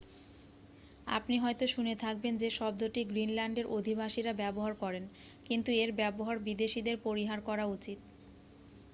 আপনি হয়তো শুনে থাকবেন যে শব্দটি গ্রীনল্যান্ডের অধিবাসীরা ব্যবহার করেন কিন্তু এর ব্যবহার বিদেশীদের পরিহার করা উচিত